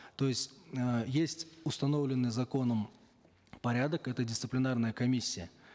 то есть э есть установленный законом порядок это дисциплинарная комиссия